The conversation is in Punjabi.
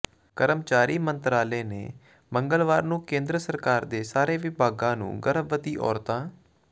ਕਰਮਚਾਰੀ ਮੰਤਰਾਲੇ ਨੇ ਮੰਗਲਵਾਰ ਨੂੰ ਕੇਂਦਰ ਸਰਕਾਰ ਦੇ ਸਾਰੇ ਵਿਭਾਗਾਂ ਨੂੰ ਗਰਭਵਤੀ ਔਰਤਾਂ